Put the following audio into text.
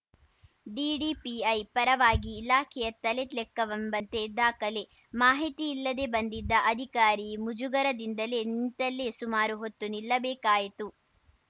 DDPI ಪರವಾಗಿ ಇಲಾಖೆಯ ತಲೆ ಲೆಕ್ಕವೆಂಬಂತೆ ದಾಖಲೆ ಮಾಹಿತಿ ಇಲ್ಲದೇ ಬಂದಿದ್ದ ಅಧಿಕಾರಿ ಮುಜುಗರದಿಂದಲೇ ನಿಂತಲ್ಲೇ ಸುಮಾರು ಹೊತ್ತು ನಿಲ್ಲಬೇಕಾಯಿತು